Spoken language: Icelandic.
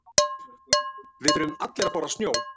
Við þurfum allir að borða snjó.